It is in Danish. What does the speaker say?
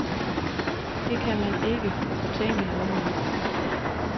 Det kan man ikke fortænke nogen i.